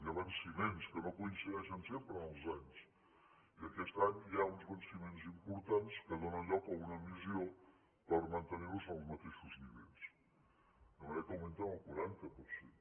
hi ha venciments que no coincideixen sempre en els anys i aquest any hi ha uns venciments importants que donen lloc a una emissió per mantenir los en els mateixos nivells de manera que augmenten el quaranta per cent